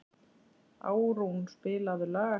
Árún, spilaðu lag.